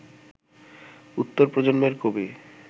উত্তর প্রজন্মের কবি